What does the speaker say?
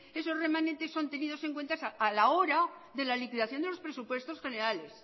esos remanentes son tenidos en cuenta a la hora de la liquidación de los presupuestos generales